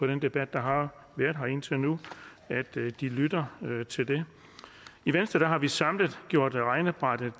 den debat der har været indtil nu at de lytter til det i venstre har vi samlet gjort regnebrættet